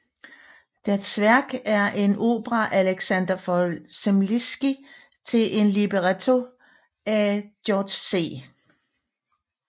Der Zwerg er en opera af Alexander von Zemlinsky til en libretto af Georg C